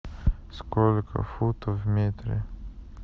сколько футов в метре